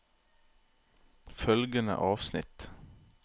Følgende avsnitt